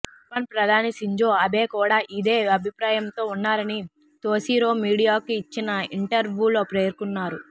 Japan ప్రధాని Shinzo Abe కూడా ఇదే అభిప్రాయంతో ఉన్నారని తొషిరో మీడియాకు ఇచ్చిన ఇంటర్వూలో పేర్కొన్నారు